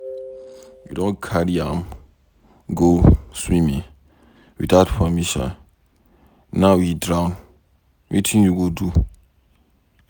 You don carry am go swimming without permission, now he drown, wetin you go do?